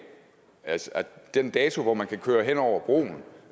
altså den dato hvor man kan køre hen over broen